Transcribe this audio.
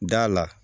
Da la